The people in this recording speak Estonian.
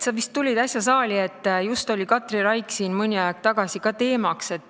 Sa vist tulid äsja saali, Katri Raik oli siin just mõni aeg tagasi teemaks.